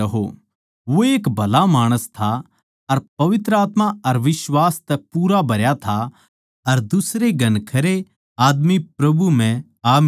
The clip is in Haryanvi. वो एक भला माणस था अर पवित्र आत्मा अर बिश्वास तै पूरा भरया था अर दुसरे घणखरे आदमी प्रभु म्ह आ मिले